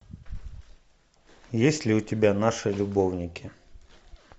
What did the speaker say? есть ли у тебя наши любовники